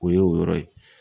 O ye o yɔrɔ ye.